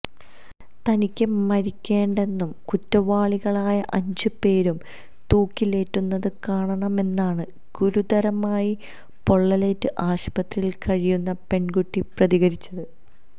തനിക്ക് മരിക്കേണ്ടെന്നും കുറ്റവാളികളായ അഞ്ച് പേരും തൂക്കിലേറ്റുന്നത് കാണണമെന്നാണ് ഗുരുതരമായി പൊള്ളലേറ്റ് ആശുപത്രിയിൽ കഴിയുന്ന പെൺകുട്ടി പ്രതികരിച്ചത്